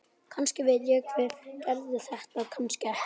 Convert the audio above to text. Kannski veit ég hver gerði þetta, kannski ekki.